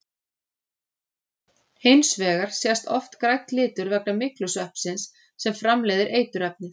Hins vegar sést oft grænn litur vegna myglusveppsins sem framleiðir eiturefnið.